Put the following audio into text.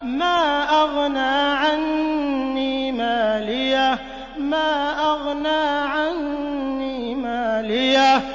مَا أَغْنَىٰ عَنِّي مَالِيَهْ ۜ